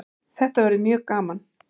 Þetta verður mjög gaman